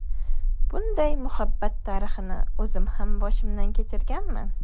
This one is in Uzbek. Bunday muhabbat tarixini o‘zim ham boshimdan kechirganman.